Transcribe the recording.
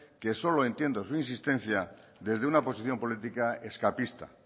que solo entiendo su insistencia desde una posición política escapista